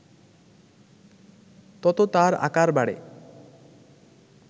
তত তার আকার বাড়ে